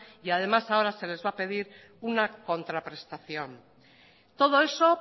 y además ahora se les va a pedir una contraprestación todo eso